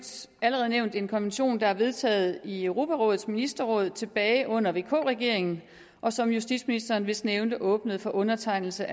som allerede nævnt en konvention der er vedtaget i europarådets ministerråd tilbage under vk regeringen og som justitsministeren vist nævnte åbnede for undertegnelse